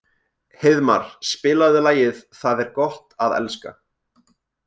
Heiðmar, spilaðu lagið „Það er gott að elska“.